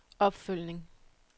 opfølgning